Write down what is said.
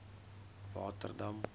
waterdam